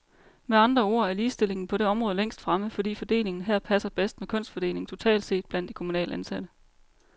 Med andre ord er ligestillingen på det område længst fremme, fordi fordelingen her passer bedst med kønsfordelingen totalt set blandt de kommunalt ansatte.